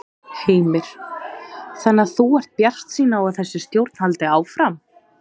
Heimir: Þannig að þú ert bjartsýn á að þessi stjórn haldi áfram?